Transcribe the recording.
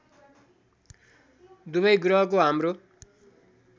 दुबै ग्रहको हाम्रो